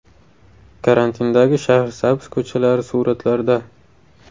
Karantindagi Shahrisabz ko‘chalari suratlarda.